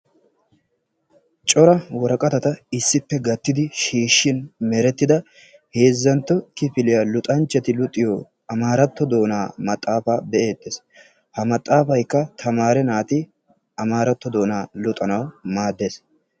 Cora woraqatata issippe gaattidi shiishin meretida heezzantto kifiliya luxanchchati luxiyo amaratto doonaa maxaafa be'ettees. Ha maxaafaykka tamaare naati amaratto doona luxanawu maaddees.